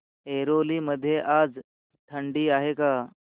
ऐरोली मध्ये आज थंडी आहे का